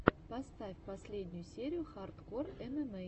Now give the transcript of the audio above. поставь последнюю серию хардкор эмэмэй